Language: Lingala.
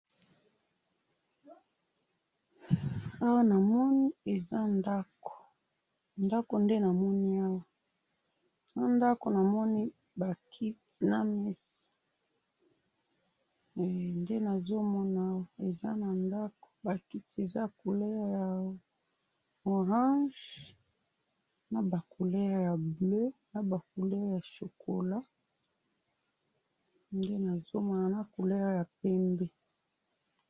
Awa namoni eza ndaku ndaku nde namoni awa na ndaku namoni ba kiti na meza hee nde nazomona awa hee eza na ndaku ba kiti eza ya couleur ya orange naba couleur ya bleu naba couleur ya chocolat naba couleur ya pembe.